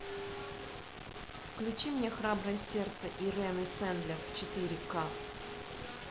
включи мне храброе сердце ирены сендлер четыре ка